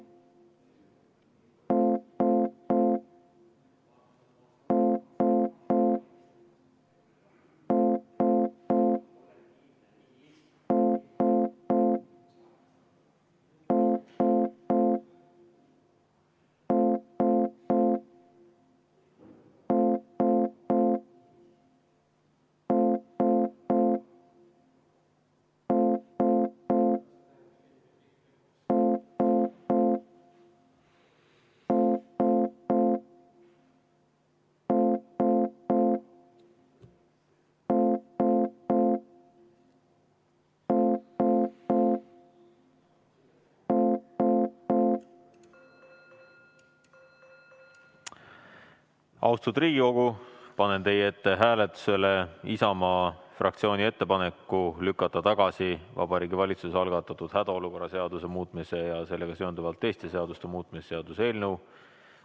Austatud Riigikogu, panen hääletusele Isamaa fraktsiooni ettepaneku lükata tagasi Vabariigi Valitsuse algatatud hädaolukorra seaduse muutmise ja sellega seonduvalt teiste seaduste muutmise seaduse eelnõu.